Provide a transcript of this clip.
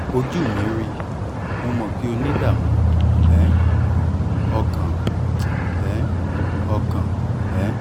ojú mi rí mo mọ̀ pé o ní ìdààmú um ọkàn um ọkàn um